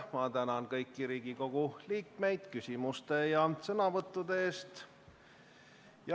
Ma tänan kõiki Riigikogu liikmeid küsimuste ja sõnavõttude eest!